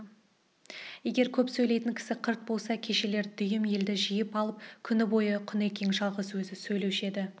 егер көп сөйлейтін кісі қырт болса кешелер дүйім елді жиып алып күні бойы құнекең жалғыз өзі сөйлеуші еді